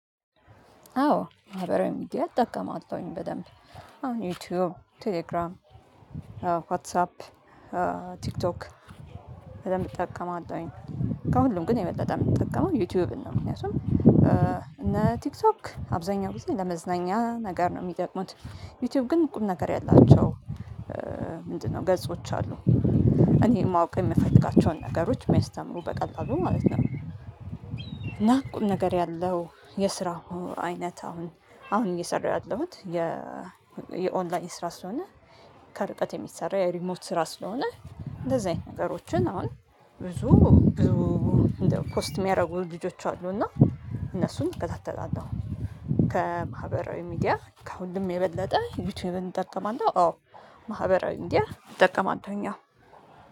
አዎ ማህበራዊ ሚዲያ እጠቀማለሁኝ በደንብ ዩቲዩብ ቴሌግራም ዋትሳፕ ቲክቶክ በደንብ እጠቀመለሁኝ። ከሁሉም ግን የበለጠ ምጠቀመው ዩቲዩብን ነው ምክንያቱም እነ ቲክቶክ አብዛኛው ጊዜ ለመዝናኛ ነገር ነው የሚጠቅሙት። ዩቲዩብ ግን ቁም ነገር ያላቸው ምንድነው ገጾች አሉ። እኔ ማወቅ የምፈልጋቸውን ነገሮች ምያስተምሩ በቀላሉ ማለት ነው። እና ቁም ነገር ያለው የስራ ሆኖ አይነት አሁን አሁን እየሰራሁ ያለሁት የ የኦንላይን ስራ ስለሆነ። ከርቀት የሚሰራ የሪሞት ስራ ስለሆነ። እንደዚህ አይነት ነገሮችን አሁን ብዙ ብዙ እንደ ፖስት የሚያደርጉ ልጆች አሉ እና እነሱን እከታተላለው። ከማህበራዊ ሚዲያ ከሁሉ የበለጠ ዩቲዩብን እንጠቀማለን አዎ። ማህበራዊ ሚድያ እንጠቀማለን አዎ